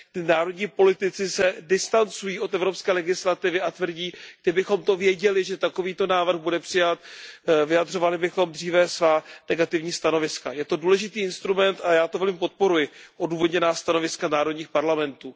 Národní politici se distancují od evropské legislativy a tvrdí Kdybychom to věděli, že takovýto návrh bude přijat, vyjadřovali bychom dříve svá negativní stanoviska. Je to důležitý instrument a já to velmi podporuji odůvodněná stanoviska národních parlamentů.